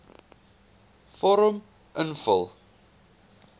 vorm invul